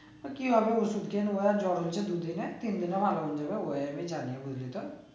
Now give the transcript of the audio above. ও কি হবে ওষুধ খেয়ে জ্বর হয়েছে দু দিনের তিন দিনে ভালো হয়ে যাবে ওয়ে আমি জানি বুঝলি তো